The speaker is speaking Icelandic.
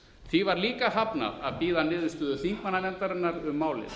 því var líka hafnað að bíða niðurstöðu þingmannanefndarinnar um málið